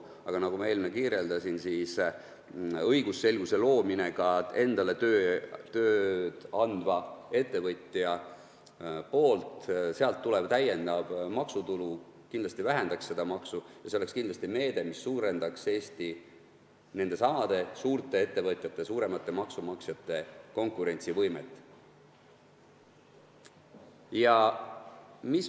Aga nagu ma enne kirjeldasin, õigusselguse loomine ka endale tööd andva ettevõtja jaoks ja sealt tulev täiendav maksutulu kindlasti vähendaks seda auku ja see oleks kindlasti meede, mis suurendaks nendesamade suurte ettevõtjate, suuremate maksumaksjate konkurentsivõimet.